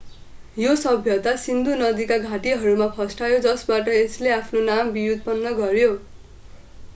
यो सभ्यता सिन्धु नदीका घाटीहरूमा फस्टायो जसबाट यसले आफ्नो नाम व्युत्पन्न गर्‍यो।